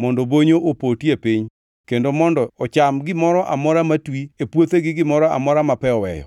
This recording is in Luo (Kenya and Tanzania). mondo bonyo opoti e piny kendo mondo ocham gimoro amora matwi e puothe gi gimoro amora ma pe oweyo.”